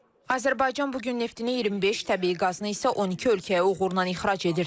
Azərbaycan bu gün neftini 25, təbii qazını isə 12 ölkəyə uğurla ixrac edir.